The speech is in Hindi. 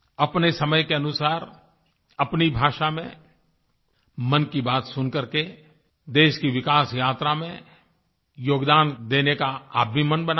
अपने समय के अनुसार अपनी भाषा में मन की बात सुन करके देश की विकास यात्रा में योगदान देने का आप भी मन बना लें